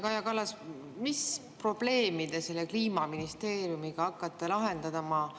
Kaja Kallas, mis probleemi te selle Kliimaministeeriumiga hakkate lahendama?